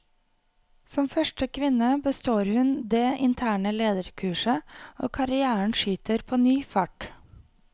Som første kvinne består hun det interne lederkurset, og karrièren skyter på ny fart.